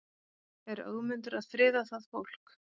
Er Ögmundur að friða það fólk?